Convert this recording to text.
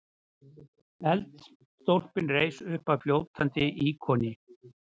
Eldstólpinn reis uppaf fljótandi íkoni.